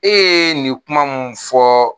E ye nin kuma mun fɔ